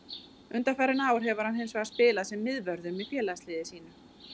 Undanfarin ár hefur hann hins vegar spilað sem miðvörður með félagsliði sínu.